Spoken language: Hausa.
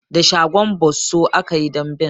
Da shagon bosso aka yi damben.